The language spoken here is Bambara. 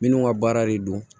Minnu ka baara de don